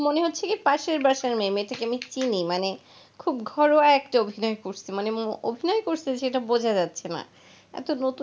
এত নতুন